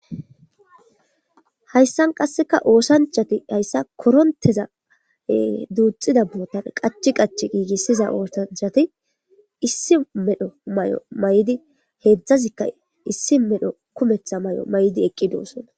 Hayssan qasseka oosanchati hayssa koronteza duuxida bootan qachi qach giigissiza oosanchati issi medho may'o may'di heedzdzazikka issi medho kumetha may'o may'di eqqi doussona.